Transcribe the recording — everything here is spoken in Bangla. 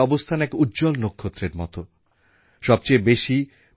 তাঁর এই স্বপ্নকে পাথেয় করে আজ দেশে স্মার্ট সিটি মিশন এবং আরবান মিশন প্রকল্প শুরু হয়ে গিয়েছে